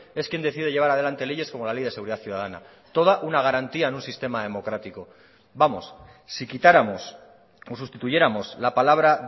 es quien decide llevar adelante leyes como la ley de seguridad ciudadana toda una garantía en un sistema democrático vamos si quitáramos o sustituyéramos la palabra